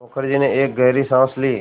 मुखर्जी ने एक गहरी साँस ली